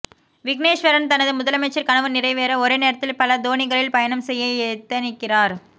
விக்னேஸ்வரன் தனது முதலமைச்சர் கனவு நிறைவேற ஒரே நேரத்தில் பல தோணிகளில் பயணம் செய்ய எத்தனிக்கிறார்